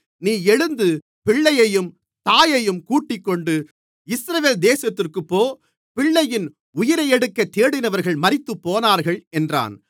நீ எழுந்து பிள்ளையையும் தாயையும் கூட்டிக்கொண்டு இஸ்ரவேல் தேசத்திற்குப் போ பிள்ளையின் உயிரையெடுக்கத் தேடினவர்கள் மரித்துப்போனார்கள் என்றான்